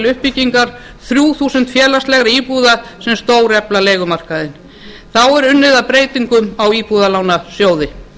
uppbyggingar þrjú þúsund félagslegra íbúða sem stórefla leigumarkaðinn þá er unnið að breytingum á íbúðalánasjóði